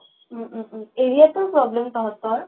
উ উ উ area টোত problem তহঁতৰ